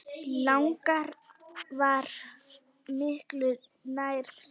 Lager var miklu nær sanni.